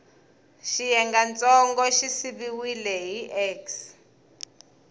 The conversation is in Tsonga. xiyengantsongo xi siviwile hi x